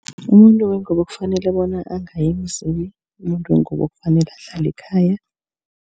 Umuntu wengubo kufanele bona angayi emzini. Umuntu wengubo kufanele ahlale ekhaya.